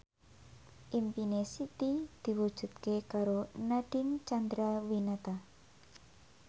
impine Siti diwujudke karo Nadine Chandrawinata